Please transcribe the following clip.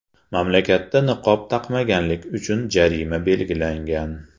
Mamlakatda niqob taqmaganlik uchun jarima belgilangan.